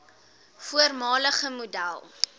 voormalige model